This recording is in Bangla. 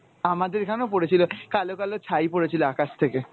আমাদের এখানেও পরেছিল, কালো কালো ছাই পরেছিল আকাশ থেকে।